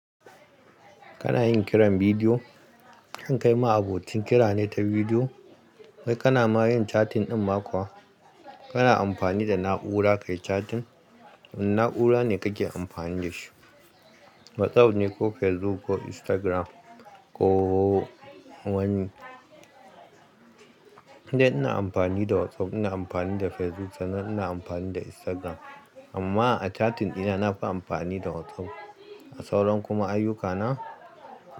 Kana yin kiran bidiyo, kai ma abocin kira ne ta bidiyo. Kai kana ma yin chatting ɗin ma kuwa, kana amfani da na'ura kayi chatting. Wane na'ura ne kake amfani da shi? WhatsApp ne ko Facebook ko Instagram ko wani? Ni ina amfani da WhatsApp, ina amfani da Facebook sanan ina amfani da Instagram. Amma a chatting dina nafi amfani da WhatsApp. A sauran kuma ayyukana.